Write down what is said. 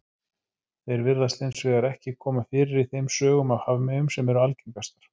Þeir virðast hins vegar ekki koma fyrir í þeim sögum af hafmeyjum sem eru algengastar.